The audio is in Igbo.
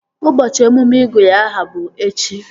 Ụbọchị emume ịgụ ya aha bụ echi